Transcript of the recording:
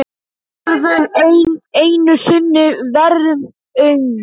Þau höfðu einu sinni verið ung.